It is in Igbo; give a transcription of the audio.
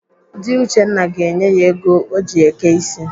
Dị Uchenna ga-enye ya ego o ji eke ịsị.